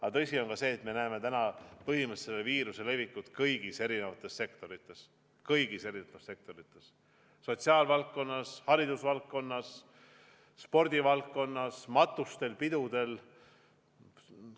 Aga tõsi on ka see, et me näeme täna põhimõtteliselt viiruse levikut mõju kõikjal: sotsiaalvaldkonnas, haridusvaldkonnas, spordivaldkonnas, matustel, pidudel.